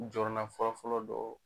Jɔrɔna fɔlɔfɔlɔ dɔ